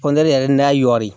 Kɔntɛri yɛrɛ n'a y'o ye